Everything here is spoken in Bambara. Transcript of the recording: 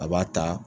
A b'a ta